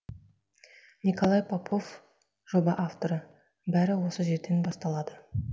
николай попов жоба авторы бәрі осы жерден басталады